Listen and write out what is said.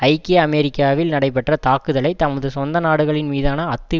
ஐக்கிய அமெரிக்காவில் நடைபெற்ற தாக்குதலை தமது சொந்த நாடுகளின் மீதான அத்து